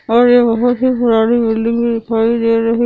और ये बहुत ही पुरानी बिल्डिंग दिखाई दे रही है।